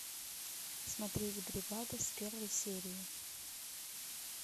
смотреть бригада с первой серии